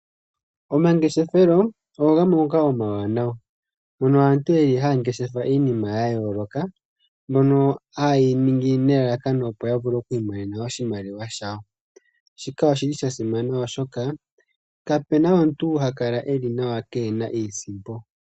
Omangeshefelo omawanawa mono aantu haya ngeshef iinima ya yoolokothana. Ohaye yi ningi nelalakano, opo ya vule ou imonena oshimaliwa shawo. Shika osha simana oshoka kapena omuntu ha kala yeli nawa keena iisimpo.